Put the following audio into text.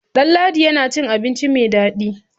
Ɗanladi yana cin abinci mai dadi.